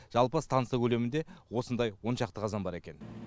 жалпы станса көлемінде осындай он шақты қазан бар екен